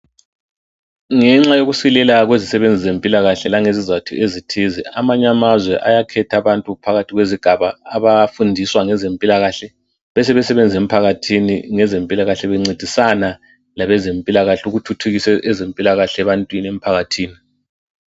Ngenxa yokusilela kwezisebenzi zempilakahle langezizathu ezithize amanye amazwe ayakhetha abantu phakathi kwezigaba abafundiswa ngezempilakahle besebe sebebenza emphakathini ngezempilakahle bencedisana labezempilakahle ukuthuthukisa ezempilakahle ebantwini emphakathini.